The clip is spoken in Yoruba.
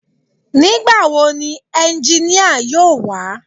Nígbà wo ni ẹnginíà yóò wá